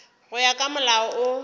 go ya ka molao wo